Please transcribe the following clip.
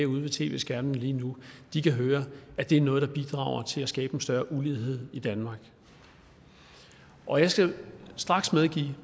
ude ved tv skærmene lige nu kan høre at det er noget der bidrager til at skabe en større ulighed i danmark og jeg skal straks medgive